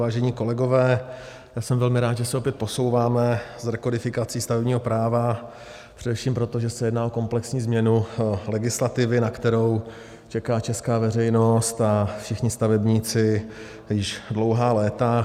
Vážení kolegové, já jsem velmi rád, že se opět posouváme s rekodifikací stavebního práva, především proto, že se jedná o komplexní změnu legislativy, na kterou čeká česká veřejnost a všichni stavebníci již dlouhá léta.